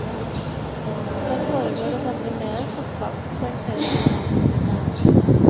Der foregår det nemlig mer enn fotball, poengterer generalsekretæren.